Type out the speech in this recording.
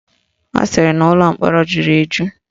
Ọ sịrị na ụlọ mkpọrọ jụrụ eju